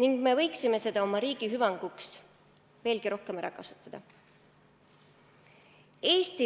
ning me võiksime seda oma riigi hüvanguks veelgi rohkem ära kasutada.